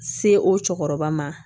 Se o cɛkɔrɔba ma